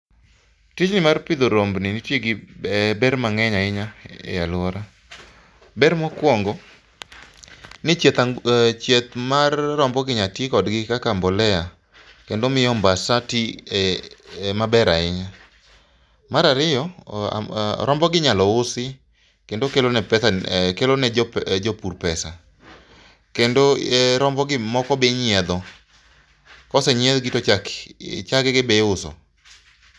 Tijni mar pidho rombeni nitie gi ber mang'eny ahinya ei alwora. Ber mokwongo, ni chieth mar rombogi inyalo ti kodgi kaka mbolea kendo omiyo ombasa ti maber ahinya. Mar ariyo, rombogi inyalo usi kendo kelone jopur pesa. Kendo, rombogi moko be inyiedho, kosenyiedhgi, to chagegi be iuso .